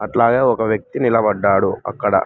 అట్లాగే ఒక వ్యక్తి నిలబడ్డాడు అక్కడ.